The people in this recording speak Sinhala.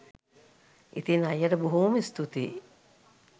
ඉතින් අයියට බොහෝම ස්තුතියි